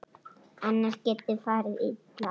Annars geti farið illa.